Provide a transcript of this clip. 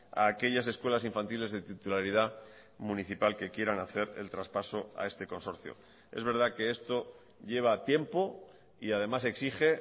a aquellas escuelas infantiles de titularidad municipal que quieran hacer el traspaso a este consorcio es verdad que esto lleva tiempo y además exige